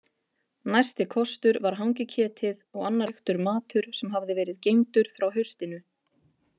Næsti kostur var hangiketið og annar reyktur matur sem hafði verið geymdur frá haustinu.